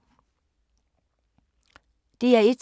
DR1